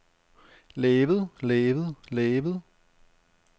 lavet lavet lavet